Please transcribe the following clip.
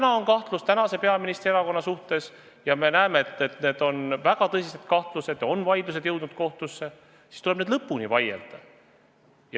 Kui on kahtlused tänase peaministri erakonna suhtes – ja me näeme, et need on väga tõsised kahtlused ja vaidlused on jõudnud kohtusse –, siis tuleb need lõpuni vaielda.